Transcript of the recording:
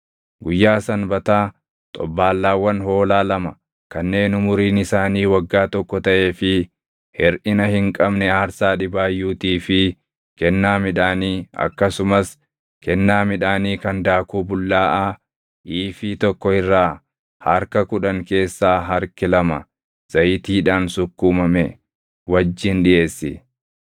“ ‘Guyyaa Sanbataa xobbaallaawwan hoolaa lama kanneen umuriin isaanii waggaa tokko taʼee fi hirʼina hin qabne aarsaa dhibaayyuutii fi kennaa midhaanii akkasumas kennaa midhaanii kan daakuu bullaaʼaa iifii tokko irraa harka kudhan keessaa harki lama zayitiidhaan sukkuumame wajjin dhiʼeessi.